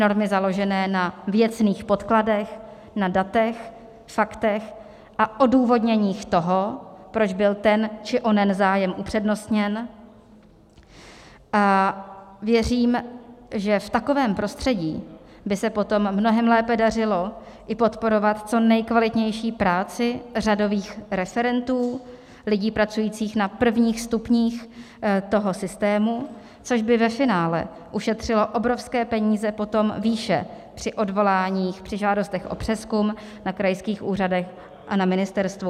normy založené na věcných podkladech, na datech, faktech a odůvodněních toho, proč byl ten či onen zájem upřednostněn, a věřím, že v takovém prostředí by se potom mnohem lépe dařilo i podporovat co nejkvalitnější práci řadových referentů, lidí pracujících na prvních stupních toho systému, což by ve finále ušetřilo obrovské peníze potom výše při odvoláních, při žádostech o přezkum na krajských úřadech a na ministerstvu.